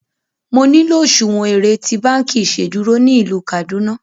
Mo nilò òṣuwọ́n èrè tí bankí iṣedúró ní ilú Kaduna!